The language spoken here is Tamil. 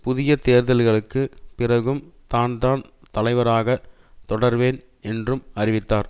புதிய தேர்தல்களுக்கு பிறகும் தான்தான் தலைவராக தொடர்வேன் என்றும் அறிவித்தார்